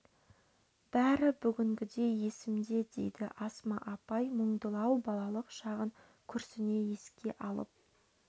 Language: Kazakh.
бәрі бүгінгідей есімде дейді асма апай мұңдылау балалық шағын күрсіне еске алып